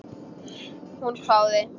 Hún hváði.